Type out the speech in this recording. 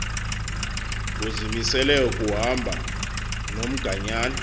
uzimisele kuhamba nomganyana